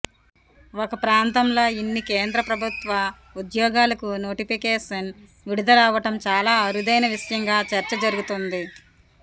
ఒక ప్రాంతంలో ఇన్ని కేంద్ర ప్రభుత్వ ఉద్యోగాలకు నోటిఫికేషన్ విడుదల అవడం చాలా అరుదైన విషయంగా చర్చ జరుగుతోంది